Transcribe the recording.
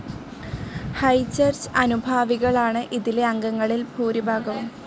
High Church അനുഭാവികളാണ് ഇതിലെ അംഗങ്ങളിൽ ഭൂരിഭാഗവും.